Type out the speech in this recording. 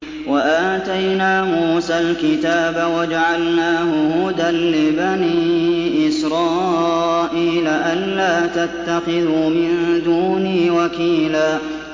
وَآتَيْنَا مُوسَى الْكِتَابَ وَجَعَلْنَاهُ هُدًى لِّبَنِي إِسْرَائِيلَ أَلَّا تَتَّخِذُوا مِن دُونِي وَكِيلًا